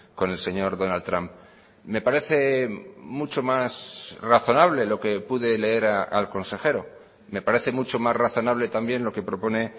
con el señor donald trump me parece mucho más razonable lo que pude leer al consejero me parece mucho más razonable también lo que propone